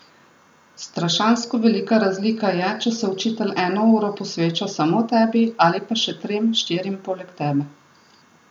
Strašansko velika razlika je, če se učitelj eno uro posveča samo tebi ali pa še trem, štirim poleg tebe.